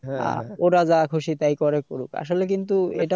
ওরা যা খুশি করে করুক আসলে কিন্তু এটা